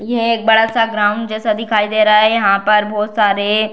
यह एक बड़ा-सा ग्राउंड जैसा दिखाई दे रहा है यहां पर बहोत सारे --